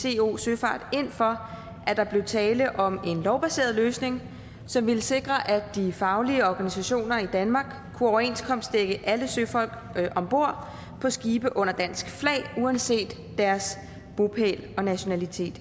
i co søfart ind for at der blev tale om en lovbaseret løsning som ville sikre at de faglige organisationer i danmark kunne overenskomstdække alle søfolk om bord på skibe under dansk flag uanset deres bopæl og nationalitet